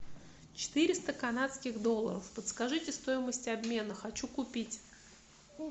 четыреста канадских долларов подскажите стоимость обмена хочу купить